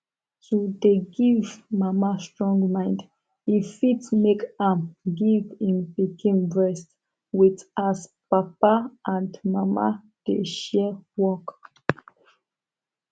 to dey give mama strong mind e fit make am give im pikin breast with as papa and mama dey share work